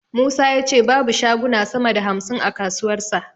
Musa ya ce babu shaguna sama da hamsin a kasuwarsa.